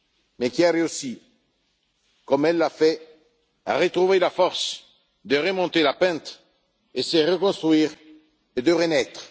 mais qui a réussi, comme elle l'a fait, à retrouver la force de remonter la pente, de se reconstruire et de renaître.